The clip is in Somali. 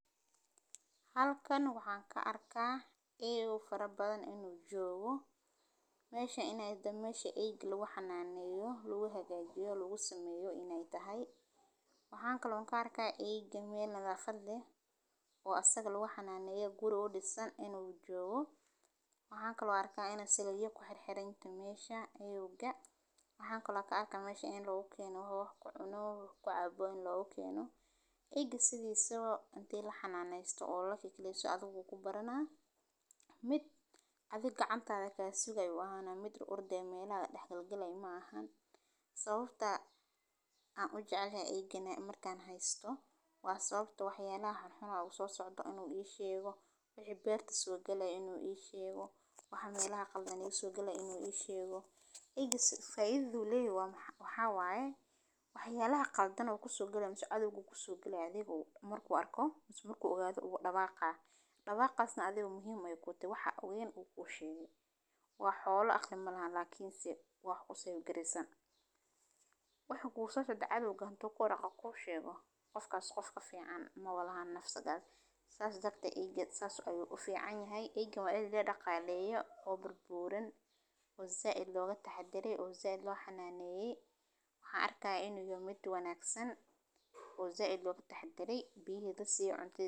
Halkaan ka arkay eyy farabadan inuu joogo. Meesha inay dammeyshe eygal waxaa naanayay, lagu hagaajiyo, lagu sameeyo inay tahay. Wakhaan kaloo in ka arkay eyga meelaha khadle. Waa asag lagu xanaanayo guruud isaan inuu joogo. Wakhaan kaloo arkay inay saliyo ku xir xiranyahoodu meesha ayuga. Wakhaan kaloo ka arkay meesha in loo keeno habka cunoow ku caabo in loo u keeno. Eyga sidiiso intii la xanaano oo laki keliya soo adag ugu baranaa. Mid adiga cantada kaasigay waana mid ururdey meelaha dhakal galay maahan. Sababta aan u jeclaa eygan ay markaan haysto waa sababtoo waxyaalaha xun u soo socdo inuu ii sheego, bixi beerta suogela inuu ii sheego, waxa meelaha qaldaniga suogela inuu ii sheego. Igisa faydu leey waan waxaa waa eh? Waxyaalaha qaldan ku su'gela aad igu ku sugi galay adeegu marka arkoo musi murku ogaado ugu dhaqaaqa. Dhaqaaqasna adeegu muhiimay kuuti waxa u geen uu ku sheego. Waa xoolo akhri malahay laakiin si waax u sii garaysan. Waxa ku soosno dhacay lagaan toko raqaa ku sheego qofkaas qofka fiican ma walaan naf sagal saas dabta iigada saas u ayyu u fiican yahay. Igina waa eli dhaqaa leeyahay, oo burbuuran, uu za'id looga taxaderey, uu za'id loo xanaaneeysii. Waxaa arkay inuu yimi mid wanaagsan uu za'id looga taxaderey bihida sii conti.